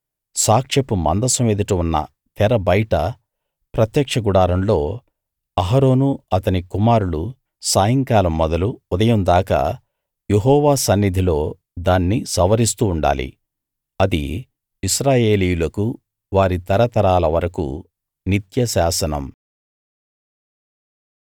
సాక్ష్యపు మందసం ఎదుట ఉన్న తెర బయట ప్రత్యక్ష గుడారంలో అహరోను అతని కుమారులు సాయంకాలం మొదలు ఉదయం దాకా యెహోవా సన్నిధిలో దాన్ని సవరిస్తూ ఉండాలి అది ఇశ్రాయేలీయులకు వారి తరతరాల వరకూ నిత్య శాసనం